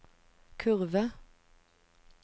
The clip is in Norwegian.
kurve